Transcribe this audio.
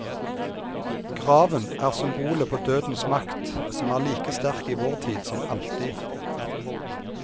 Graven er symbolet på dødens makt som er like sterk i vår tid som alltid.